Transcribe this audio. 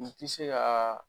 N ti se ka